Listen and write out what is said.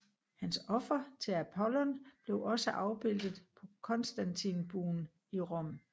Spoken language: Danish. Hans offer til Apollon blev også afbildet på Konstantinbuen i Rom